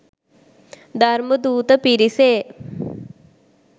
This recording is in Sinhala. ධර්මදූත පිරිසේ